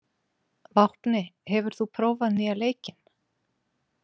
Vápni, hefur þú prófað nýja leikinn?